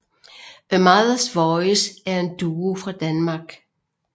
A Mothers Voice er en duo fra Danmark